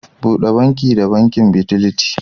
Bude banki da banki Fidelity.